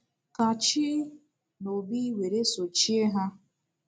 Kachi na Obi were sochie ha.